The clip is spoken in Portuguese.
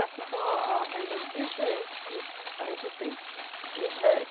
Essas são a a renda diferente que a gente tem. O